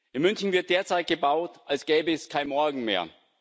In München wird derzeit gebaut, als gäbe es kein Morgen mehr.